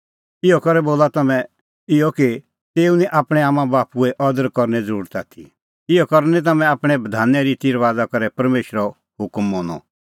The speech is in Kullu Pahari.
इहअ करै बोला तम्हैं इहअ कि तेऊ निं आपणैं आम्मांबाप्पूए अदर करने ज़रुरत आथी इहअ करै निं तम्हैं आपणैं बधाने रिती रबाज़ा करै परमेशरो हुकम मनअ